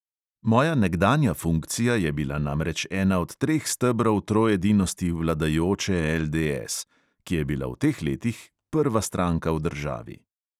Moja nekdanja funkcija je bila namreč ena od treh stebrov troedinosti vladajoče LDS, ki je bila v teh letih prva stranka v državi.